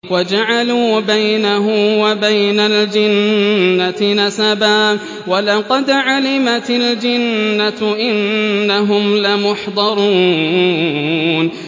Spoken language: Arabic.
وَجَعَلُوا بَيْنَهُ وَبَيْنَ الْجِنَّةِ نَسَبًا ۚ وَلَقَدْ عَلِمَتِ الْجِنَّةُ إِنَّهُمْ لَمُحْضَرُونَ